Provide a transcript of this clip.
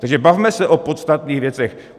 Takže bavme se o podstatných věcech.